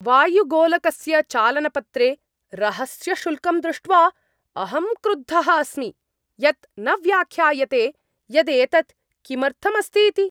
वायुगोलकस्य चालनपत्रे रहस्यशुल्कं दृष्ट्वा अहं क्रुद्धः अस्मि, यत् न व्याख्यायते यत् एतत् किमर्थम् अस्ति इति।